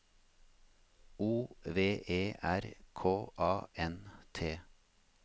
O V E R K A N T